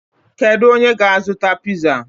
Kedu onye ga-azụta piza?